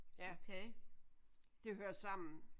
Ja det hører sammen